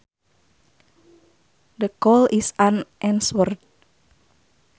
The call is unanswered